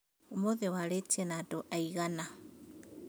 Ũmũthĩ waarĩtie na andũ aigana